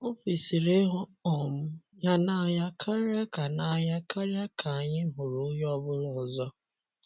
O kwesịrị ịhụ um ya n’anya karịa ka n’anya karịa ka anyị hụrụ onye ọ bụla ọzọ.